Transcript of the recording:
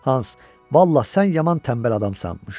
Hans, vallah, sən yaman tənbəl adammış.